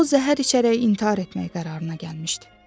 O zəhər içərək intihar etmək qərarına gəlmişdi.